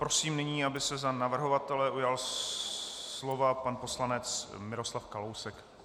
Prosím nyní, aby se za navrhovatele ujal slova pan poslanec Miroslav Kalousek.